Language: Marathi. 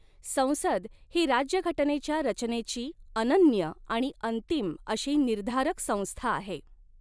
संसद ही राज्यघटनेच्या रचनेची अनन्य आणि अंतिम अशी निर्धारक स़ंस्था आहे.